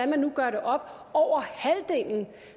man nu gør det op